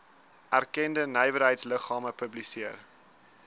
erkende nywerheidsliggame publiseer